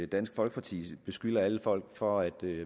dansk folkeparti beskylder alle folk for at